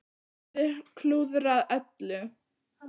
Hann hafði klúðrað öllu.